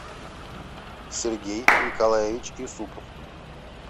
сергей николаевич юсупов